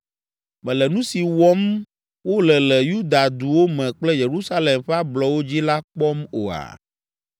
Mèle nu si wɔm wole le Yuda duwo me kple Yerusalem ƒe ablɔwo dzi la kpɔm oa?